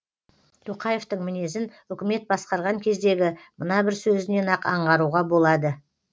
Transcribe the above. тоқаевтың мінезін үкімет басқарған кездегі мына бір сөзінен ақ аңғаруға болады